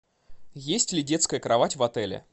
есть ли детская кровать в отеле